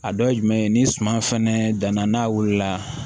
A dɔ ye jumɛn ye ni suman fɛnɛ danna n'a wulila